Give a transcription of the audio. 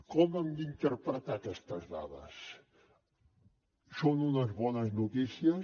com hem d’interpretar aquestes dades són unes bones notícies